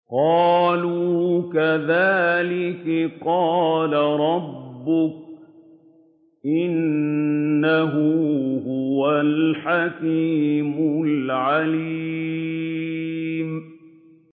قَالُوا كَذَٰلِكِ قَالَ رَبُّكِ ۖ إِنَّهُ هُوَ الْحَكِيمُ الْعَلِيمُ